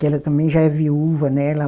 Que ela também já é viúva, né? Ela